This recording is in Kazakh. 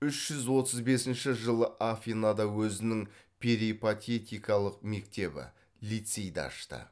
үш жүз отыз бесінші жылы афинада өзінің перипатетикалық мектебі лицейді ашты